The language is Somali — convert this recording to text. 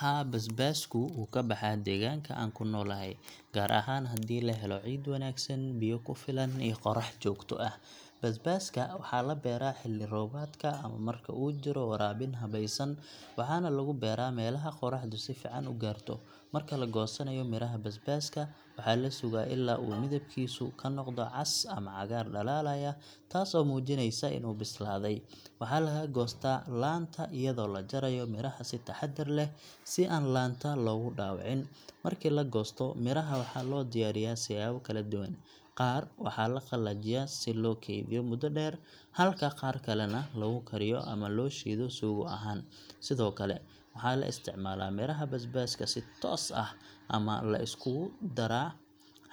Haa, basbaasku wuu ka baxaa deegaanka aan ku noolahay, gaar ahaan haddii la helo ciid wanaagsan, biyo ku filan iyo qorax joogto ah. Basbaaska waxaa la beeraa xilli roobaadka ama marka uu jiro waraabin habaysan, waxaana lagu beeraa meelaha qoraxdu si fiican u gaarto. Marka la goosanayo miraha basbaaska, waxaa la sugaa ilaa uu midabkiisu ka noqdo cas ama cagaar dhalaalaya, taasoo muujinaysa inuu bislaaday. Waxaa laga goostaa laanta iyadoo la jarayo miraha si taxaddar leh, si aan laanta loogu dhaawicin. Markii la goosto, miraha waxaa loo diyaariyaa siyaabo kala duwan—qaar waxaa la qalajiyaa si loo kaydiyo muddo dheer, halka qaar kalena lagu kariyo ama loo shiido suugo ahaan. Sidoo kale, waxaa la isticmaalaa miraha basbaaska si toos ah ama la iskugu daro